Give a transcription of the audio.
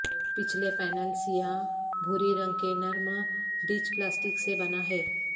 پچھلے پینل سیاہ بھوری رنگ کے نرم ٹچ پلاسٹک سے بنا ہے